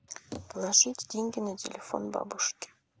положить деньги на телефон бабушке